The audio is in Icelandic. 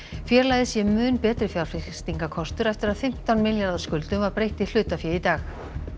félagið sé mun betri fjárfestingarkostur eftir að fimmtán milljarða skuldum var breytt í hlutafé í dag